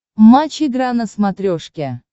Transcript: матч игра на смотрешке